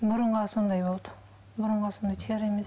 мұрынға сондай болды мұрынға сондай тері емес